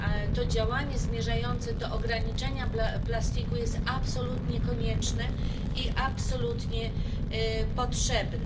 To działanie zmierzające do ograniczenia plastiku jest absolutnie konieczne i absolutnie potrzebne.